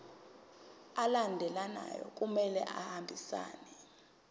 alandelayo kumele ahambisane